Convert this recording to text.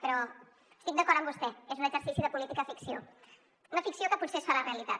però estic d’acord amb vostè és un exercici de política ficció una ficció que potser es farà realitat